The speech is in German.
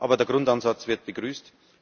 Aber der Grundansatz wird begrüßt.